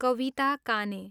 कविता काने